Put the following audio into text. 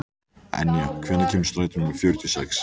Enja, hvenær kemur strætó númer fjörutíu og sex?